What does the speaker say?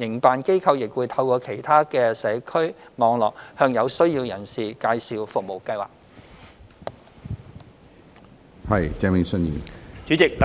營辦機構亦會透過其社區網絡，向有需要人士介紹服務計劃。